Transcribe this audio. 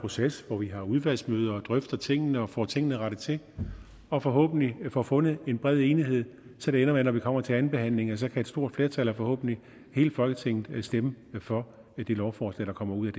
proces hvor vi har udvalgsmøder og drøfter tingene og får tingene rettet til og forhåbentlig får fundet en bred enighed så det ender med at når vi kommer til andenbehandlingen kan et stort flertal af forhåbentlig hele folketinget stemme for det lovforslag der kommer ud